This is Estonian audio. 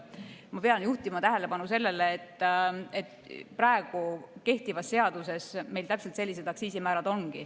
Ma pean juhtima tähelepanu sellele, et kehtivas seaduses meil täpselt sellised aktsiisimäärad ongi.